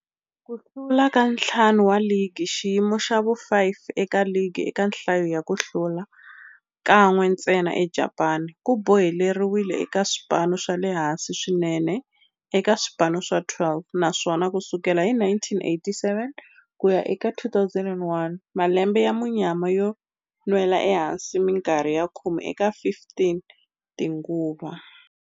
Ku hlula ka ntlhanu wa ligi, xiyimo xa vu-5 eka ligi eka nhlayo ya ku hlula, kan'we ntsena eJapani, ku boheleriwile eka swipano swa le hansi swinene eka swipano swa 12, naswona ku sukela hi 1987 ku ya eka 2001, malembe ya munyama yo nwela ehansi minkarhi ya khume eka 15 tinguva.